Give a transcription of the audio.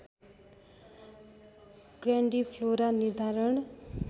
grandiflora निर्धारण